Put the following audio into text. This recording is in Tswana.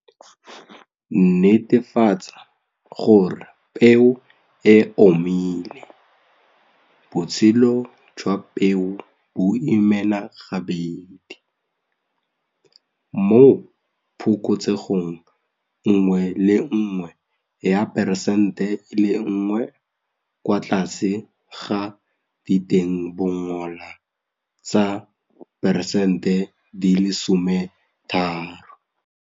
Netefatsa gore peo e omile botshelo jwa peo bo imena gabedi, mo phokotsegong nngwe le nngwe ya 1 percent kwa tlase ga ditengbongola tsa 13 percent.